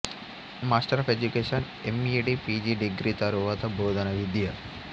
master of education MEd PG degree తరువాత బోధనా విద్య